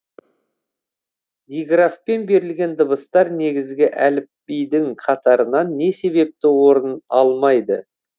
диграфпен берілген дыбыстар негізгі әліпбидің қатарынан не себепті орын алмайды